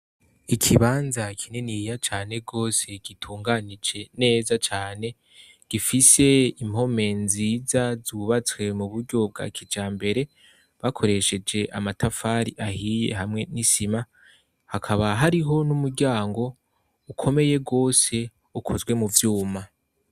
Ikibanza kininiya cane gose gitunganije neza cane gifise impome nziza zubatswe muburyo bwa kijambere bakoresheje amatafari ahiye hamwe n'isima hakaba hariho n'umuryango ukomeye gose ukozwe m'uvyuma.